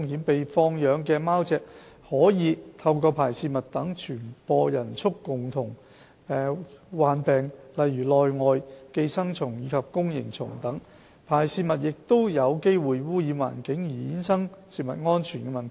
被放養的貓隻可以透過排泄物等傳播人畜共通病，例如內外寄生蟲及弓形蟲等。排泄物亦有機會污染環境而衍生食物安全的問題。